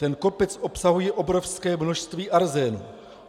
Ten kopec obsahuje obrovské množství arzénu.